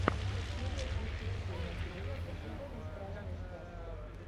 серия тридцать семь одиннадцатого сезона страшные сказки